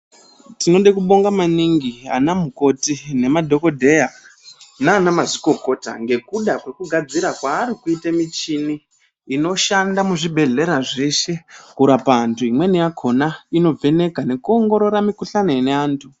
Tinoda kubonga maningi ana mukoti nemadhokodheya nana mazvikokota ngekuda kwekugadzira kwarikuita michini inoshanda muzvibhedhlera zveshe kurapa antu imweni yakona inovheneka nekuongorora mikuhlani yevantu.